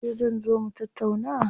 Yauce zan zo mu tattauna?